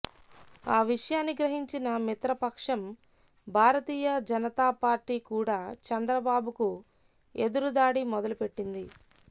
ఆ విషయాన్ని గ్రహించిన మిత్రపక్షం భారతీయ జనతాపార్టీ కూడా చంద్రబాబుకు ఎదురుదాడి మొదలుపెట్టింది